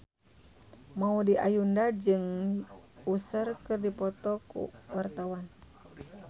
Maudy Ayunda jeung Usher keur dipoto ku wartawan